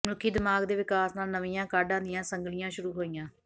ਮਨੁੱਖੀ ਦਿਮਾਗ਼ ਦੇ ਵਿਕਾਸ ਨਾਲ ਨਵੀਆਂ ਕਾਢਾਂ ਦੀਆਂ ਸੰਗਲੀਆਂ ਸ਼ੁਰੂ ਹੋਈਆਂ